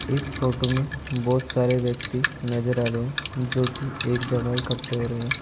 इस फोटो में बहोत सारे व्यक्ति नजर आ रहे जोकि एक जगह इकट्ठे हो रहे है।